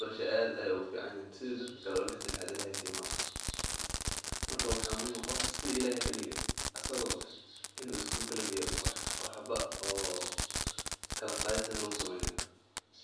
barashada aad ayeey ugu fican yihiin marka in iskuulka lageeyo oo lakala qaadin.